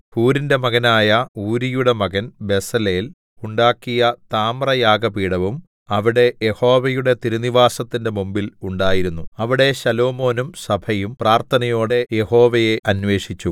ഹൂരിന്റെ മകനായ ഊരിയുടെ മകൻ ബെസലേൽ ഉണ്ടാക്കിയ താമ്രയാഗപീഠവും അവിടെ യഹോവയുടെ തിരുനിവാസത്തിന്റെ മുമ്പിൽ ഉണ്ടായിരുന്നു അവിടെ ശലോമോനും സഭയും പ്രാർഥനയോടെ യഹോവയെ അന്വേഷിച്ചു